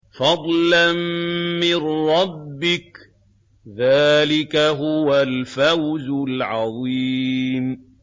فَضْلًا مِّن رَّبِّكَ ۚ ذَٰلِكَ هُوَ الْفَوْزُ الْعَظِيمُ